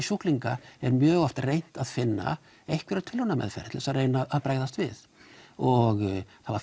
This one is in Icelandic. sjúklinga er mjög oft reynt að finna einhverja tilrauna meðferð til þess að reyna að bregðast við og það var